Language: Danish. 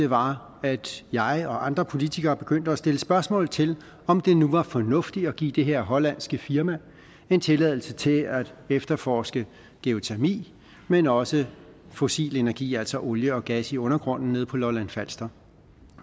var at jeg og andre politikere begyndte at stille spørgsmål til om det nu var fornuftigt at give det her hollandske firma en tilladelse til at efterforske geotermi men også fossil energi altså olie og gas i undergrunden nede på lolland falster